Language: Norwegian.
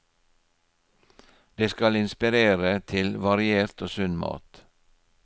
Det skal inspirere til variert og sunn mat.